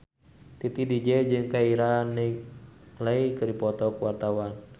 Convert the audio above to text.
Titi DJ jeung Keira Knightley keur dipoto ku wartawan